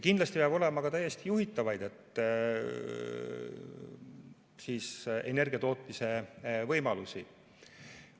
Kindlasti peab olema ka täiesti juhitavaid energiatootmise võimalusi.